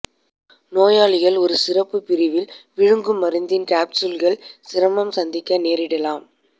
நோயாளிகள் ஒரு சிறப்பு பிரிவில் விழுங்கும் மருந்தின் காப்ஸ்யூல்கள் சிரமம் சந்திக்க நேரிடலாம்